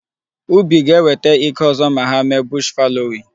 Ubi ga-ewete ike ọzọ ma hà mee bush fallowing.